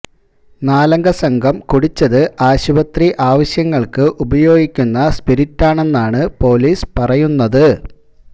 നാലംഗ സംഘം കുടിച്ചത് ആശുപത്രി ആവശ്യങ്ങള്ക്ക് ഉപയോഗിക്കുന്ന സ്പിരിറ്റാണെന്നാണ് പോലീസ് പറയുന്നത്